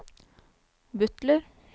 butler